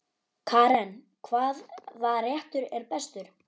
Karen: Hvaða réttur er bestur?